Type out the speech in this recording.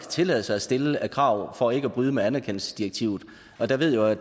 tillade sig at stille af krav for ikke at bryde med anerkendelsesdirektivet der ved jeg